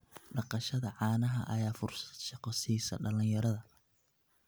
Dhaqashada caanaha ayaa fursad shaqo siisa dhalinyarada.